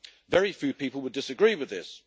Very few people would disagree with this.